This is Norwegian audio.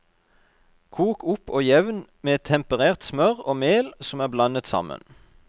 Kok opp og jevn med temperert smør og mel som er blandet sammen.